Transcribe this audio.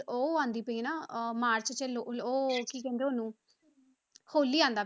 ਉਹ ਆਉਂਦੀ ਪਈ ਨਾ ਅਹ ਮਾਰਚ 'ਚ ਲ~ ਉਹ ਕੀ ਕਹਿੰਦੇ ਉਹਨੂੰ ਹੋਲੀ ਆਉਂਦਾ,